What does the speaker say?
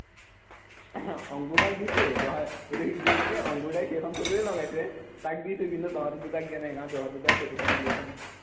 অংকুৰ দাক দিছো তই এইটো কি অংকুৰ দাই সেইখন ফটোৱেই লগাইছে তাক দিছো কিন্তু তহঁতি দুটাক দিয়া নাই কাৰণ তহঁতি দুটাই ফটোখন উলিয়াইছ ন